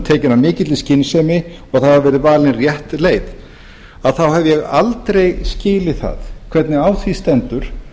tekin af mikilli skynsemi og það hafi verið valin rétt leið þá hef ég aldrei skilið það hvernig á því stendur